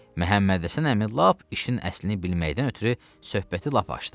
Məhəmmədhəsən əmi lap işin əslini bilməkdən ötrü söhbəti lap açdı.